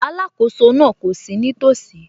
Alákóso náà kò sí nítòsí